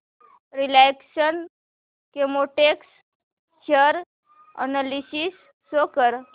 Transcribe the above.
Reliance Chemotex share analysis show कर